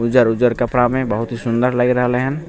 उज्जर-उज्जर कपड़ा में बहुत ही सुन्दर लएग रहले हेन ।